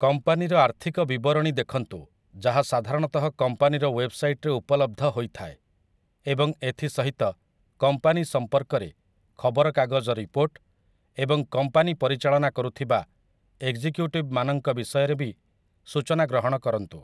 କମ୍ପାନୀର ଆର୍ଥିକ ବିବରଣୀ ଦେଖନ୍ତୁ, ଯାହା ସାଧାରଣତଃ କମ୍ପାନୀର ୱେବ୍‌ସାଇଟ୍‌ରେ ଉପଲବ୍ଧ ହୋଇଥାଏ, ଏବଂ ଏଥି ସହିତ କମ୍ପାନୀ ସମ୍ପର୍କରେ ଖବରକାଗଜ ରିପୋର୍ଟ ଏବଂ କମ୍ପାନୀ ପରିଚାଳନା କରୁଥିବା ଏକ୍‌ଜିକ୍ୟୁଟିଭ୍‌ମାନଙ୍କ ବିଷୟରେ ବି ସୂଚନା ଗ୍ରହଣ କରନ୍ତୁ ।